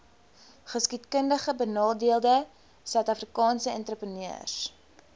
geskiedkundigbenadeelde suidafrikaanse entrepreneurs